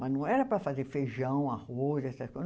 Mas não era para fazer feijão, arroz, essas coisas.